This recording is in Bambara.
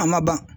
A ma ban